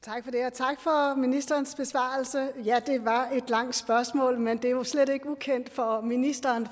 tak for ministerens besvarelse ja det var et langt spørgsmål men det er jo slet ikke ukendt for ministeren